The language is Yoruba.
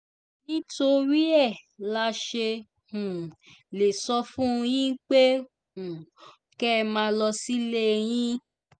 nítorí ẹ la ṣe um lè sọ fún yín pé um kẹ́ ẹ máa lọ sílé yín